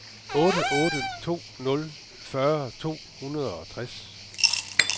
otte otte to nul fyrre to hundrede og toogtres